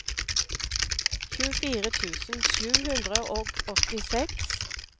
tjuefire tusen sju hundre og åttiseks